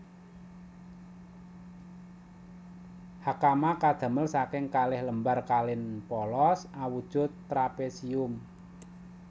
Hakama kadamel saking kalih lembar kain polos awujud trapesium